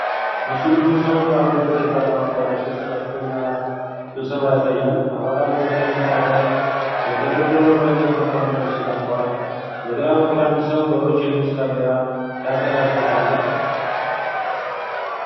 ምስሉ ብዙ ሰዎች ባሉበት የፓርላማ አዳራሽ ውስጥ ከፍተኛ ስብሰባ ያሳያል። አባላት በቀይ ምንጣፍ ላይ በተደረደሩ በእንጨት መቀመጫዎች ተቀምጠዋል። በግራ በኩል አንድ ሰው በሮዝ ሸሚዝ ካሜራ ሲያንቀሳቅስ አሉ።